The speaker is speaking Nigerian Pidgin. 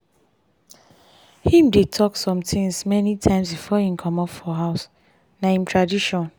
him dey talk some things many times before him commot for house na him tradition.